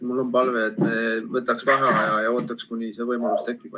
Mul on palve, et me võtaksime vaheaja ja ootaksime, kuni see võimalus tekib.